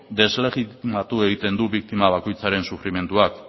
deslegitimatu egiten du biktima bakoitzaren sufrimenduak